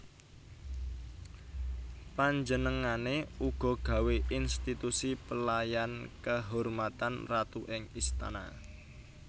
Panjenengané uga gawé institusi Pelayan Kehormatan Ratu ing istana